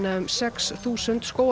um sex þúsund